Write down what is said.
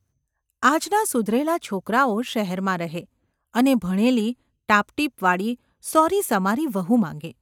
આજના સુધરેલા છોકરાઓ શહેરમાં રહે અને ભણેલી, ટાપટીપવાળી, સોરીસમારી વહુ માગે.